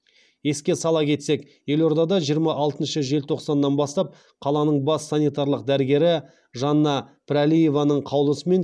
еске сала кетсек елордада жиырма алтыншы желтоқсаннан бастап қаланың бас санитарлық дәрігері жанна пірәлиеваның қаулысымен